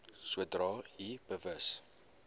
sodra u bewus